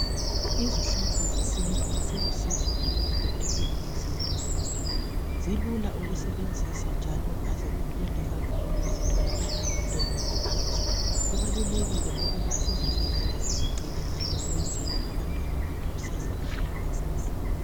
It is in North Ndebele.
Izihlahla zesintu zilusizo kakhulu empilweni zethu. Zilula ukusebenzisa njalo aziduli kakhulu zitholakala lula ngentengo ephansi. Kubalulekile ukuba sizivikele sizilondoloze ukwenzela ukuthi intsha yakusasa layo yenelise ukuzisebenzisa.